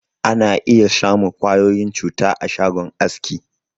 Ana iya samun ƙwayoyin cuta a shagon aski.